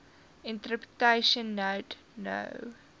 interpretation note no